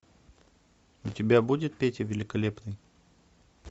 у тебя будет петя великолепный